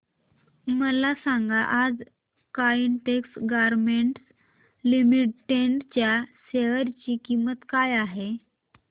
मला सांगा आज काइटेक्स गारमेंट्स लिमिटेड च्या शेअर ची किंमत काय आहे